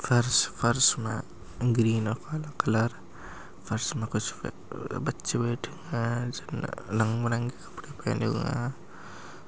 फर्स फर्स में ग्रीन और यलो कलर फर्स में कुछ बच्चे बैठे है जिन्होंने रंग बिरंग के कपड़े पहने हुए है।